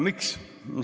Miks?